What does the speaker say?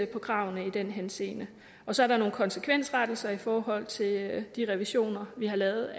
på kravene i den henseende så er der nogle konsekvensrettelser i forhold til de revisioner vi har lavet